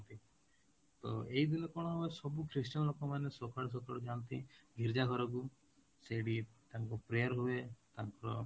ତ ଏଇ ଦିନ କ'ଣ ହୁଏ ସବୁ Christian ଲୋକମାନେ ସକାଳୁ ସକାଳୁ ଯାଆନ୍ତି ଗୀର୍ଜା ଘରକୁ ସେଇଠି ତାଙ୍କୁ prayer ହୁଏ ତାଙ୍କର